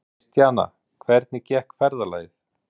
Kristjana, hvernig gekk ferðalagið?